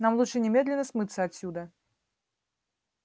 нам лучше немедленно смыться отсюда